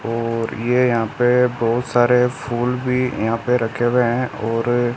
और ये यहां पे बहुत सारे फूल भी यहां पे रखे हुए हैं और--